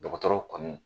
Dɔgɔtɔrɔw kan